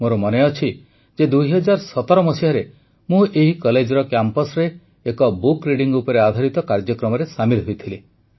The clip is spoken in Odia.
ମୋର ମନେଅଛି ଯେ ୨୦୧୭ରେ ମୁଁ ଏହି କଲେଜର କ୍ୟାମ୍ପସ୍ରେ ଏକ ବୁକ୍ ରିଡିଂ ଉପରେ ଆଧାରିତ କାର୍ଯ୍ୟକ୍ରମରେ ସାମିଲ୍ ହୋଇଥିଲି